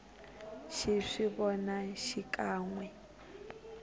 xi swi vona xikan we